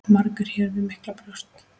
Margur hér við miklu bjóst.